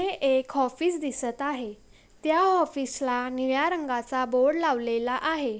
हे एक ऑफिस दिसत आहे त्या ऑफिस ला निळ्या रंगाचा बोर्ड लावलेला आहे.